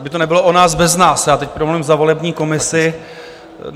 Aby to nebylo o nás bez nás, já teď promluvím za volební komisi.